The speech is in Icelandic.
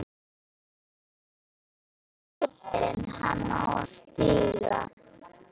Veit ekki í hvorn fótinn hann á að stíga.